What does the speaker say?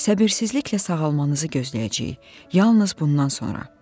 Səbirsizliklə sağalmanızı gözləyəcəyik, yalnız bundan sonra.